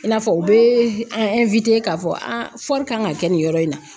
I n'a fɔ u bɛ an k'a fɔ a kan ka kɛ nin yɔrɔ in na